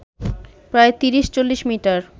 প্রায় তিরিশ-চল্লিশ মিটার